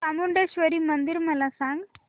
चामुंडेश्वरी मंदिर मला सांग